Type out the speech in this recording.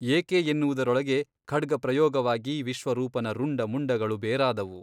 ಏಕೆ ಎನ್ನುವುದರೊಳಗೆ ಖಡ್ಗಪ್ರಯೋಗವಾಗಿ ವಿಶ್ವರೂಪನ ರುಂಡ ಮುಂಡಗಳು ಬೇರಾದವು.